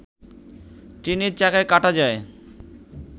ট্রেনের চাকায় কাটা যায়